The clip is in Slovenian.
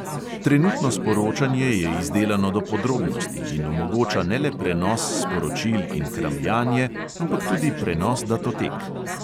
Trenutno sporočanje je izdelano do podrobnosti in omogoča ne le prenos sporočil in kramljanje, ampak tudi prenos datotek.